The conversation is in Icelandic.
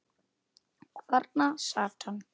Og þarna sat hann.